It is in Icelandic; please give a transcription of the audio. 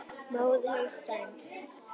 Móðir hans er sænsk.